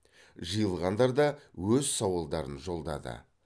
жиылғандар да өз сауалдарын жолдады